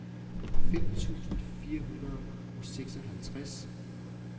fem tusind fire hundrede og seksoghalvtreds